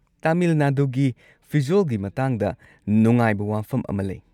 ꯇꯥꯃꯤꯜ ꯅꯥꯗꯨꯒꯤ ꯐꯤꯖꯣꯜꯒꯤ ꯃꯇꯥꯡꯗ ꯅꯨꯡꯉꯥꯏꯕ ꯋꯥꯐꯝ ꯑꯃ ꯂꯩ꯫